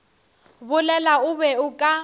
bolela o be o ka